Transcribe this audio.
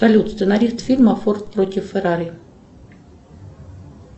салют сценарист фильма форд против феррари